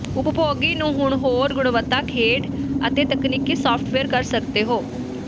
ਉਪਭੋਗੀ ਨੂੰ ਹੁਣ ਹੋਰ ਗੁਣਵੱਤਾ ਖੇਡ ਅਤੇ ਤਕਨੀਕੀ ਸਾਫਟਵੇਅਰ ਕਰ ਸਕਦੇ ਹੋ